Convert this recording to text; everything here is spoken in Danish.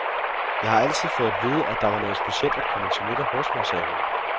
Jeg har altid fået at vide, at det var noget specielt at komme til middag hos mig, siger hun.